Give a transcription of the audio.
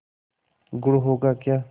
गुड़ होगा क्या